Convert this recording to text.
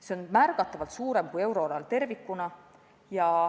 See näitaja on märgatavalt suurem kui euroalal tervikuna.